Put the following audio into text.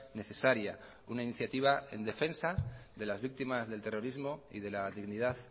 necesaria una iniciativa en defensa de las víctimas del terrorismo y de la dignidad